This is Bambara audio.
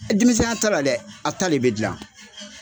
Denmisɛnya ta la dɛ a ta le bɛ dilan.